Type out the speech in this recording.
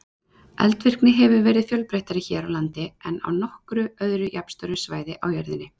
Eldvirkni hefur verið fjölbreyttari hér á landi en á nokkru öðru jafnstóru svæði á jörðinni.